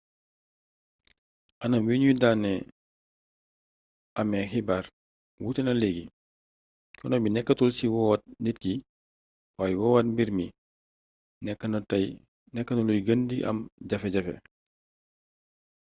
anam wi ñu daan amee xibaar wuute na leegi coono bi nekkatul ci woowaat nit ki waaye woowaat mbir mi nekk na luy gën di am jafe-jafe